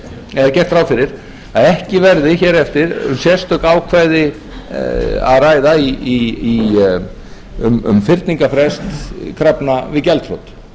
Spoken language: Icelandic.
gert ráð fyrir að ekki verði hér eftir um sérstök ákvæði að ræða um fyrningarfrest krafna við gjaldþrot